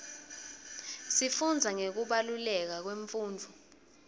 sifundza ngekubaluleka kwemfundvo